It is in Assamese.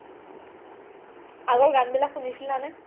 আগৰ গান বিলাক শুনিছিলা নে?